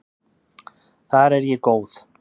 Þar er ég góð.